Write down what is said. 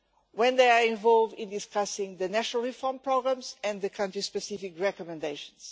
when they are involved in discussing the national reform programmes and the country-specific recommendations.